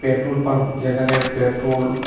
petrol pump যেখানে petrol --